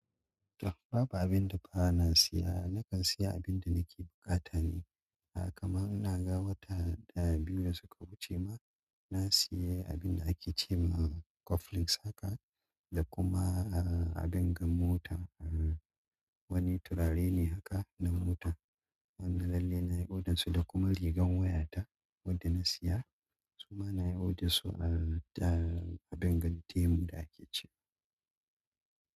To babu abin da ba na siya, nakan siya abin da nake buƙata ne. Ah kamar ina ga wata ɗaya biyu da suka wuce ma na siya abin da ake ce ma coupling haka da kuma ah abin gan mota eh wani turare ne haka na mota. Wanda lalle na yi odan su da kuma rigar waya ta wadda na siya su ma na yi odassu ah da abin gan temu da ake ce ma.